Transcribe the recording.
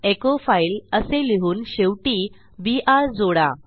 echo file असे लिहून शेवटी बीआर जोडा